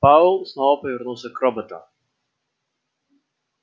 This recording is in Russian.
пауэлл снова повернулся к роботу